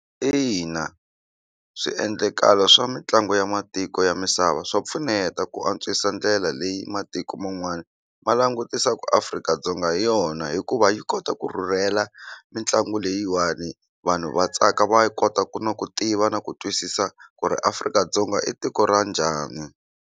Ina swiendlakalo swa mitlangu ya matiko ya misava swa pfuneta ku antswisa ndlela leyi matiko man'wana ma langutisa ku Afrika- Dzonga hi yona hikuva yi kota ku rhurhela mitlangu leyiwani vanhu va tsaka va kota ku na ku tiva na ku twisisa ku ri Afrika-Dzonga i tiko ra njhani.